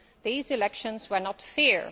these elections were not fair.